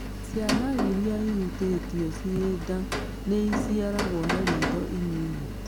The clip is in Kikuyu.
Ciana irĩa ihutĩtio ciĩ nda nĩiciaragwo na na ritho inini